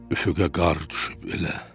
Üfüqə qar düşüb elə.